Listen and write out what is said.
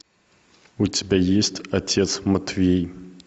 у тебя есть отец матвей